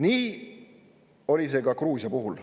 Nii oli see ka Gruusia puhul.